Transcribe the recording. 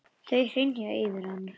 Þau hrynja yfir hann.